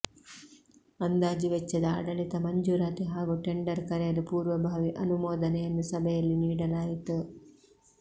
ಅಂದಾಜು ವೆಚ್ಚದ ಆಡಳಿತ ಮಂಜೂರಾತಿ ಹಾಗೂ ಟೆಂಡರ್ ಕರೆಯಲು ಪೂರ್ವಭಾವಿ ಅನುಮೋದನೆಯನ್ನು ಸಭೆಯಲ್ಲಿ ನೀಡಲಾಯಿತು